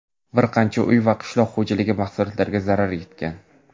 bir qancha uy va qishloq xo‘jaligi mahsulotlariga zarar yetgan.